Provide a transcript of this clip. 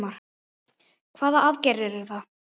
Hvaða aðgerðir eru það?